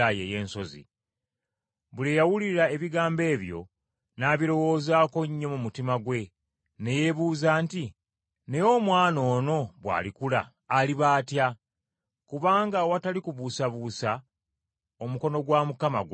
Buli eyawulira ebigambo ebyo n’abirowoozaako nnyo mu mutima gwe, ne yeebuuza nti, “Naye omwana ono bw’alikula aliba atya?” Kubanga awatali kubuusabuusa, omukono gwa Mukama gwali wamu naye.